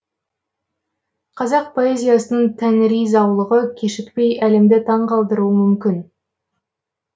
қазақ поэзиясының тәңіри заулығы кешікпей әлемді таңғалдыруы мүмкін